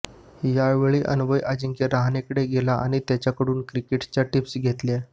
यावेळी अन्वय अजिंक्य रहाणेकडे गेला आणि त्याच्याकडून क्रिकेटच्या टीप्स घेतल्या